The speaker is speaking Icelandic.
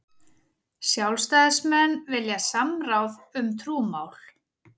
Sjálfstæðismenn vilja samráð um trúmál